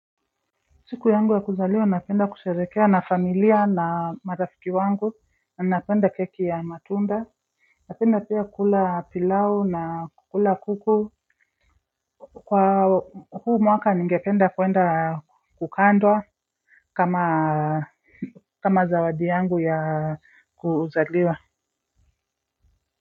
Siku yangu ya kuzaliwa na penda kusherekea na familia na marafiki wangu na napenda keki ya matunda napenda pia kula pilau na kukula kuku kwa huu mwaka ni ngependa kwenda kukandwa kama kama zawadi yangu ya kuzaliwa.